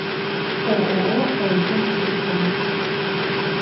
ооо эл ком телефон